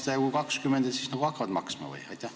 Kui see kehtib 20 aastat, kas nad siis hakkavad maksma?